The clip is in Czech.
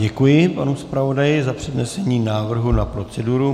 Děkuji panu zpravodaji za přednesení návrhu na proceduru.